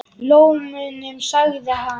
Lómunum sagði hann.